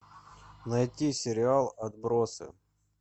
найти сериал отбросы